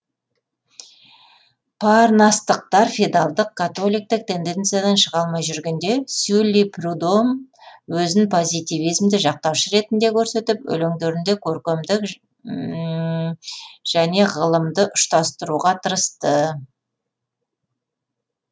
парнастықтар феодалдық католиктік тенденциядан шыға алмай жүргенде сюлли прюдомөзін позитивизмді жақтаушы ретінде көрсетіп өлеңдерінде көркемдік және ғылымдыұштастыруға тырысты